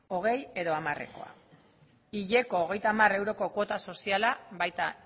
hogei edo hamarekoa hileko hogeita hamar euroko kuota soziala baita